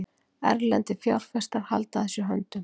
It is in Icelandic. Erlendir fjárfestar halda að sér höndum